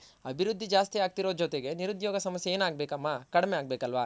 ಅಭಿವೃದ್ದಿ ಜಾಸ್ತಿ ಆಗ್ತಿರೋ ಜೊತೆಗೆ ಇ ನಿರುದ್ಯೋಗ ಸಮಸ್ಯೆ ಏನ್ ಅಗ್ಬೇಕಮ್ಮ ಕಡ್ಮೆ ಆಗ್ಬೇಕಲ್ವ